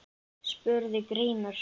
spurði Grímur.